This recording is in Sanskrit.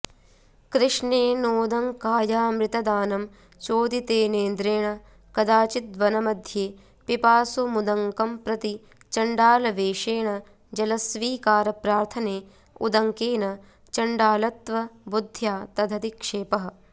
कृष्णेनोदङ्कायामृतदानं चोदितेनेन्द्रेण कदाचिद्वनमध्ये पिपासुमुदङ्कंप्रति चण्डालवेषेण जलस्वीकारप्रार्थने उदङ्केन चण्डालत्वबुद्ध्या तदधिक्षेपः